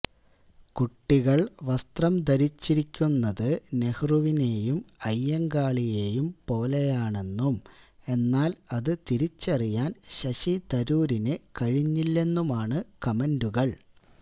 കുട്ടികൾ വസ്ത്രം ധരിച്ചിരിക്കുന്നത് നെഹ്റുവിനെയും അയ്യങ്കാളിയെയും പോലെയാണെന്നും എന്നാൽ അത് തിരിച്ചറിയാൻ ശശി തരൂരിന് കഴിഞ്ഞില്ലെന്നുമാണ് കമന്റുകൾ